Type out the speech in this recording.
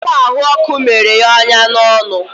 ọ kwa ahụ ọkụ mere ya onya n'ọnụ.